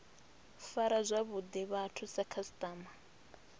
fara zwavhuḓi vhathu sa khasiṱama